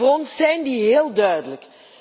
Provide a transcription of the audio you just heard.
Voor ons zijn die heel duidelijk.